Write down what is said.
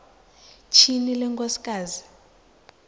tyhini le nkosikazi